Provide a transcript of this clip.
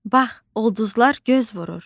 Bax, ulduzlar göz vurur.